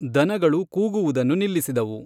ದನಗಳು ಕೂಗುವುದನ್ನು ನಿಲ್ಲಿಸಿದವು.